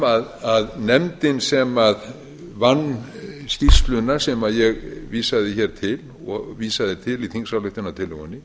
fram að nefndin sem vann skýrsluna sem ég vísaði hér til og vísaði til í þingsályktunartillögunni